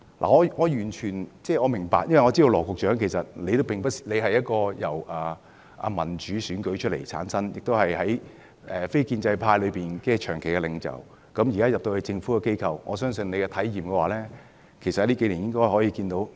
我完全明白，因為我知道羅局長由民主選舉產生，也是非建制派中的長期領袖，現時加入政府機構，我相信你在數年內應該有甚為不同的體驗。